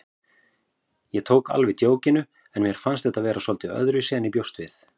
Ég tók alveg djókinu en mér fannst þetta vera svolítið öðruvísi en ég bjóst við.